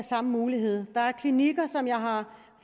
samme mulighed der er klinikker som jeg har